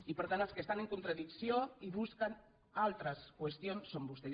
i per tant els que estan en contradicció i busquen altres qüestions són vostès